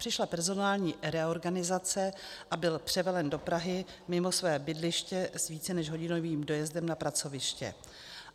Přišla personální reorganizace a byl převelen do Prahy mimo své bydliště s více než hodinovým dojezdem na pracoviště.